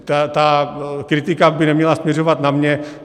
Ta kritika by neměla směřovat na mě.